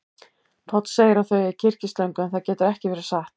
Páll segir að þau eigi kyrkislöngu, en það getur ekki verið satt.